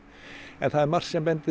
en það er margt sem bendir